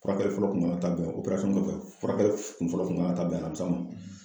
Furakɛli fɔlɔ kun kan ka taa bɛn o furakɛli kun fɔlɔ kun man ka taa bɛn alamisa ma